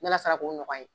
Ne ala sala k'o nɔgɔya ye